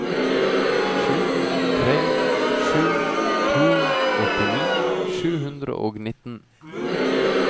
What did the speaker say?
sju tre sju to åttini sju hundre og nittien